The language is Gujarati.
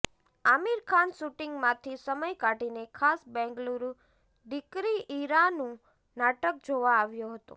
આમિર ખાન શૂટિંગમાંથી સમય કાઢીને ખાસ બેંગલુરુ દીકરી ઈરાનું નાટક જોવા આવ્યો હતો